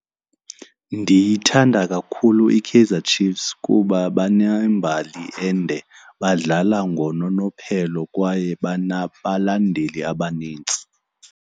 Ndiyithanda kakhulu iKaizer Chiefs kuba banembali ende, badlala ngononophelo kwaye banabalandeli abanintsi.